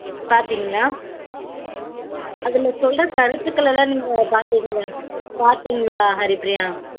பாத்தீங்களா அதுல சொல்ற கருத்துகள் எல்லாம் நீங்க பாத்தீங்களா பாத்தீங்களா ஹரிப்ரியா